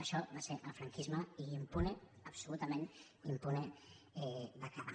això va ser el franquisme i impune absolutament impune va quedar